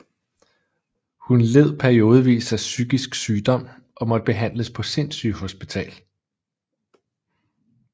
Hun led periodevis af psykisk sygdom og måtte behandles på sindssygehospital